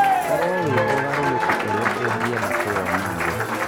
Korwo wĩ ũgarũrũku ũrĩa ũngĩenda kũwona thĩ.